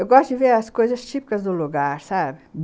Eu gosto de ver as coisas típicas do lugar, sabe?